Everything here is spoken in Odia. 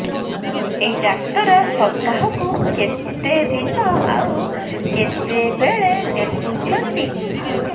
ଏଇ ଡ଼ାକ୍ତର ସପ୍ତାହକୁ କେତେଦିନ ଆଉ କେତେବେଳେ ଦେଖୁଛନ୍ତି